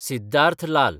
Siddharth Lal